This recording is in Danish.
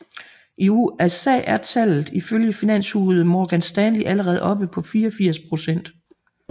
I USA er tallet ifølge finanshuset Morgan Stanley allerede oppe på 84 procent